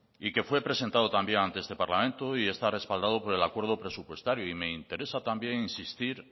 y que fue presentado también ante este parlamento y está respaldado por el acuerdo presupuestario me interesa también insistir